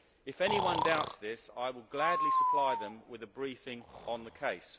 If anyone doubts this, I will gladly supply them with a briefing on the case.